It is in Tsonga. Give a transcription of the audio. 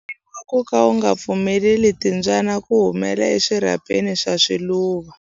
U komberiwa ku ka u nga pfumeleli timbyana ku humela eswirhapeni swa swiluva.